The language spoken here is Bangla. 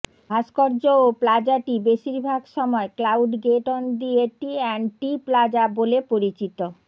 ভাস্কর্য ও প্লাজাটি বেশিরভাগ সময় Cloud Gate on the A T and T plaza বলে পরিচিত